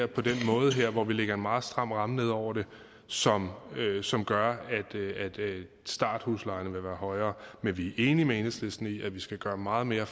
på den her måde hvor vi lægger en meget stram ramme ned over det som som gør at starthuslejerne vil være højere men vi er enige med enhedslisten i at vi skal gøre meget mere